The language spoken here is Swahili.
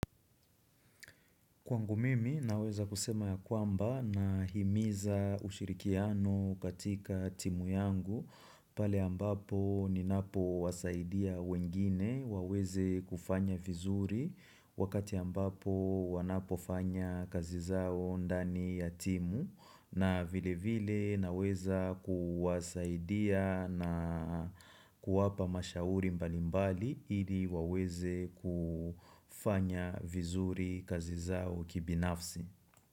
Kwangu mimi naweza kusema ya kwamba nahimiza ushirikiano katika timu yangu pale ambapo ninapo wasaidia wengine waweze kufanya vizuri wakati ambapo wanapo fanya kazi zao ndani ya timu. Na vile vile naweza kuwasaidia na kuwapa mashauri mbalimbali ili waweze kufanya vizuri kazi zao kibinafsi.